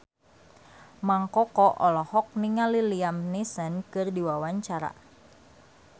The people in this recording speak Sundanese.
Mang Koko olohok ningali Liam Neeson keur diwawancara